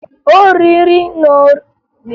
O riri nri n'ụlọ oriri na ọṅụṅụ n'abalị ụnyaahụ